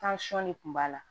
de kun b'a la